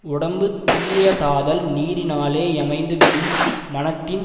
உடம்பு தூயதாதல் நீரினாலே யமைந்துவிடும் மனத்தின்